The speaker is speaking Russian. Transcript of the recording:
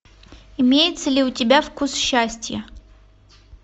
имеется ли у тебя вкус счастья